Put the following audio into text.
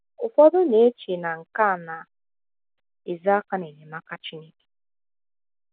Ụfọdụ na - eche na nke a na - ezo aka n’enyemaka Chineke.